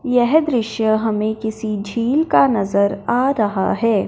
यह दृश्य हमें किसी झील का नजर आ रहा है।